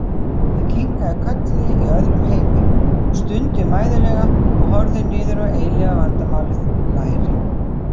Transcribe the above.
Ég kinkaði kolli í öðrum heimi, hún stundi mæðulega og horfði niður á eilífðarvandamálið, lærin.